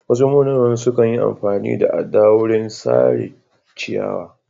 Wasu monaman sukan yi amfani da adda wurin sare ciyawa.